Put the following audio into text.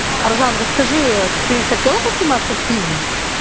аржан расскажи ты хотела бы сниматься в фильме